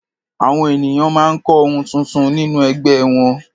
Àwọn ènìyàn máa ń kọ́ ohun tuntun nínú ẹgbẹ́ wọn.